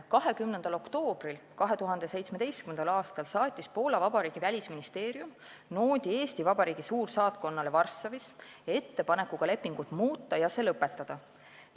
20. oktoobril 2017. aastal saatis Poola Vabariigi välisministeerium noodi Eesti Vabariigi suursaatkonnale Varssavis ettepanekuga lepingut muuta ja see lõpetada.